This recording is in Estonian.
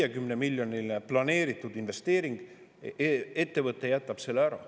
Ericssoni ettevõte jätab planeeritud 150 miljoni eurose investeeringu ära.